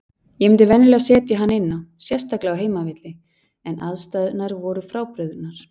Ég myndi venjulega setja hann inná, sérstaklega á heimavelli, en aðstæðurnar voru frábrugðnar.